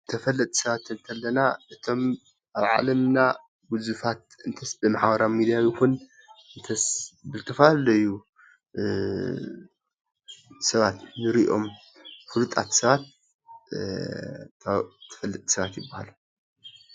ተፈላጥቲ ሰባት ክንብል ከለና እቶም ኣብ ዓለምና ግዙፋት እንተስ ብማሕበራዊ ሚድያ ይኩን እንተስ ብዝተፈላለዩ ሰባት እንሪኦም ፉሉጣት ሰባት ተፈለጥቲ ሰባት ይባሃሉ፡፡